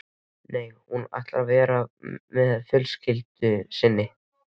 Nei, hún ætlar að vera með fjölskyldu sinni.